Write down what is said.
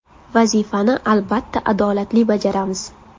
Vazifani albatta adolatli bajaramiz.